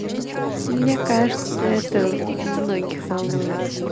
мне кажется это многих волнует